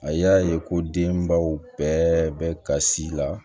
A y'a ye ko denbaw bɛɛ bɛ kasi la